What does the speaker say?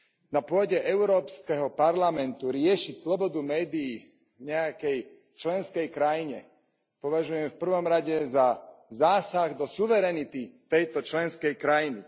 Na pôde Európskeho parlamentu riešiť slobodu médií v nejakej členskej krajine považujem v prvom rade za zásah do suverenity tejto členskej krajiny.